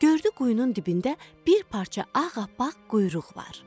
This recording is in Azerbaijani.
Gördü quyunun dibində bir parça ağappaq quyruq var.